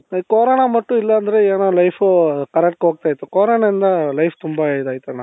ಈ corona ಬಂತು ಇಲ್ಲಾ ಅಂದ್ರೆ ಏನೋ life ಉ correctಗ್ ಹೋಗ್ತಾ ಇತ್ತು coronaಯಿoದ life ತುಂಬಾ ಇದಾಯ್ತಣ್ಣ.